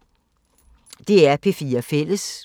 DR P4 Fælles